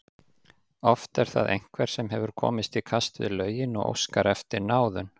Oft er það einhver sem hefur komist í kast við lögin og óskar eftir náðun.